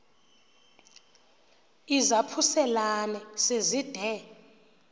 izaphuselana se zide